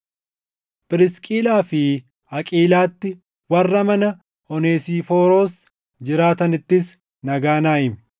Phirisqilaa fi Aqiilaatti, warra mana Oneesifooros jiraatanittis nagaa naa himi.